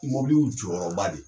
Mɔbili y'u jɔyɔrɔba de ye